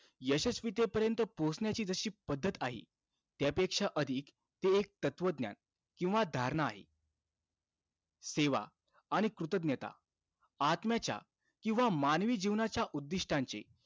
यशस्वीतेपर्यंत पोहोचण्याची जशी पद्धत आहे, त्यापेक्षा अधिक एक तत्वज्ञान किंवा धारणा आहे. सेवा आणि कृतज्ञता आत्म्याच्या किंवा मानवी जीवनाच्या उद्दिष्टांचे,